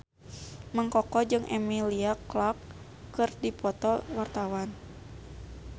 Mang Koko jeung Emilia Clarke keur dipoto ku wartawan